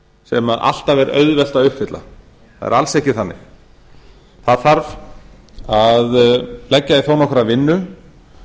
formkrafa sam alltaf er auðvelt að uppfylla það er alls ekki þannig það þarf að leggja í þó nokkra vinnu